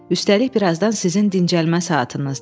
Üstəlik, birazdan sizin dincəlmə saatınızdır.